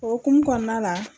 O hukumu kɔnɔna la